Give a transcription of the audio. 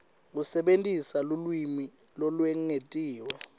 kusebentisa lulwimi lolwengetiwe